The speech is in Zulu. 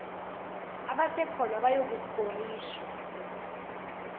abasekhona bayoku skorishwa